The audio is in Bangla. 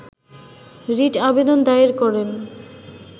রিট আবেদন দায়ের করেন